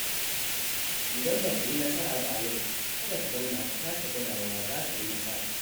Idan baka yi nasara ba a yau, kada ka zauna ka sake gwadawa za ka yi nasara.